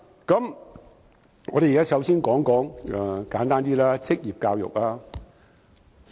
簡單點，首先我想談論職業教育。